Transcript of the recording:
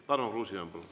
Palun, Tarmo Kruusimäe!